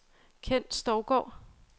Ken Stougaard